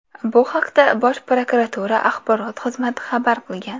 Bu haqda Bosh prokuratura axborot xizmati xabar qilgan.